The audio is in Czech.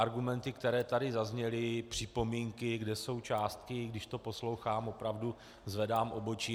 Argumenty, které tady zazněly, připomínky, kde jsou částky - když to poslouchám, opravdu zvedám obočí.